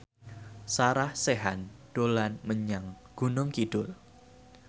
Sarah Sechan dolan menyang Gunung Kidul